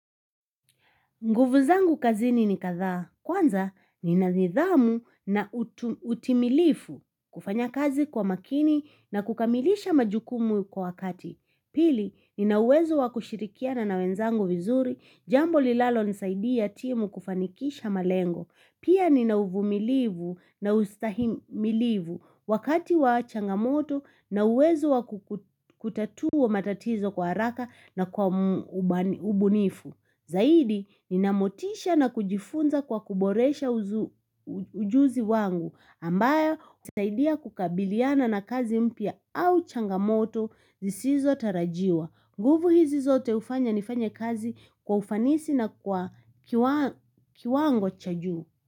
Nguvu zangu kazini ni kadhaa. Kwanza ni na nidhamu na utimilifu kufanya kazi kwa makini na kukamilisha majukumu kwa wakati. Pili ni na uwezo wa kushirikia na nawenzangu vizuri jambo lilalo nisaida timu kufanikisha malengo. Pia ni na uvumilivu na ustahimilivu wakati wa changamoto na uwezo wa kutatua matatizo kwa haraka na kwa ubunifu. Zaidi, ni namotisha na kujifunza kwa kuboresha ujuzi wangu ambayo usaidia kukabiliana na kazi mpya au changamoto zisizo tarajiwa. Nguvu hizi zote ufanya ni fanye kazi kwa ufanisi na kwa kiwango cha juu.